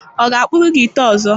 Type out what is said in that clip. Ọ ga-akpụrụ gị ite ọzọ?